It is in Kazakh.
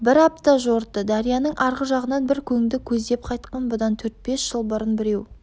бір апта жорытты дарияның арғы жағынан бір көңді көздеп қайтқан бұдан төрт бес жыл бұрын біреу